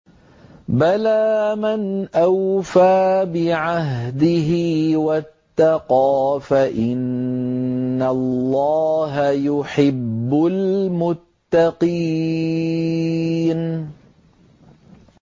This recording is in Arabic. بَلَىٰ مَنْ أَوْفَىٰ بِعَهْدِهِ وَاتَّقَىٰ فَإِنَّ اللَّهَ يُحِبُّ الْمُتَّقِينَ